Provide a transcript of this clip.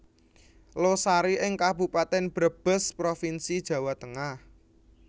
Losari ing Kabupaten Brebes Provinsi Jawa Tengah